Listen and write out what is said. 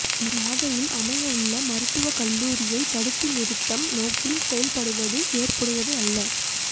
நாகையில் அமையவுள்ள மருத்துவக் கல்லூரியை தடுத்து நிறுத்தம் நோக்கில் செயல்படுவது ஏற்புடையது அல்ல